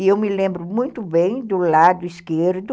E eu me lembro muito bem, do lado esquerdo,